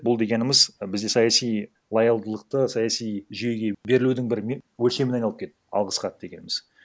бұл дегеніміз бізде саяси лоялдылықты саяси жүйеге берілудін бір өлшеміне айналып кетті алғыс хат дегеніміз